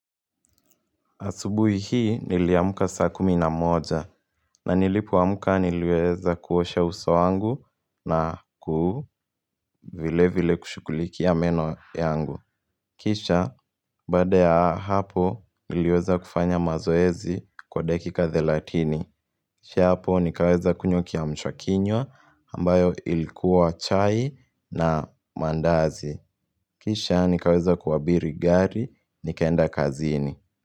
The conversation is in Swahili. Asubuhi hii niliamka saa kumi na moja. Na nilipoamka niliweza kuosha uso wangu na ku vile vile kushukulikia meno yangu. Kisha baade ya hapo niliweza kufanya mazoezi kwa dakika thelatini. Kisha hapo nikaweza kunywa kiamsha kinywa ambayo ilikuwa chai na maandazi. Kisha nikaweza kuabiri gari nikaenda kazini.